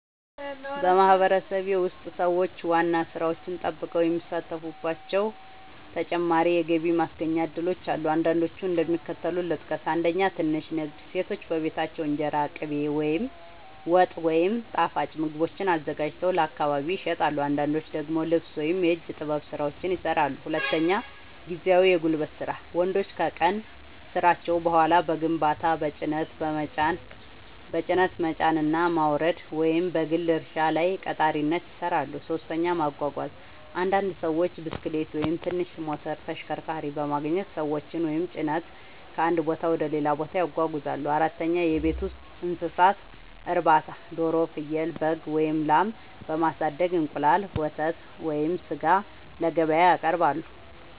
በማህበረሰቤ ውስጥ ሰዎች ዋና ሥራቸውን ጠብቀው የሚሳተፉባቸው ተጨማሪ የገቢ ማስገኛ እድሎች አሉ። አንዳንዶቹን እንደሚከተለው ልጠቅስ፦ 1. ትንሽ ንግድ – ሴቶች በቤታቸው እንጀራ፣ ቅቤ፣ ወጥ ወይም ጣፋጭ ምግቦችን አዘጋጅተው ለአካባቢ ይሸጣሉ። አንዳንዶች ደግሞ ልብስ ወይም የእጅ ጥበብ ሥራዎችን ይሠራሉ። 2. ጊዜያዊ የጉልበት ሥራ – ወንዶች ከቀን ሥራቸው በኋላ በግንባታ፣ በጭነት መጫንና ማውረድ፣ ወይም በግል እርሻ ላይ ቀጣሪነት ይሠራሉ። 3. ማጓጓዝ – አንዳንድ ሰዎች ብስክሌት ወይም ትንሽ ሞተር ተሽከርካሪ በማግኘት ሰዎችን ወይም ጭነት ከአንድ ቦታ ወደ ሌላ ያጓጉዛሉ። 4. የቤት ውስጥ እንስሳት እርባታ – ዶሮ፣ ፍየል፣ በግ ወይም ላም በማሳደግ እንቁላል፣ ወተት ወይም ሥጋ ለገበያ ያቀርባሉ።